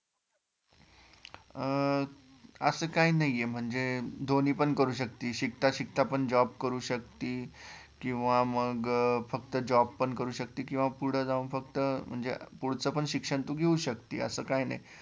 अं असं काही नाहीये म्हणजे दोन्ही पण करू शकते, शिकता शिकता पण job करू शकतती किंवा मग फ्कत job पण करू शकते किंवा पुढं जाऊन फक्त म्हणजे पुढचं पण शिक्षण तू घेउ शकती, असे काय नाही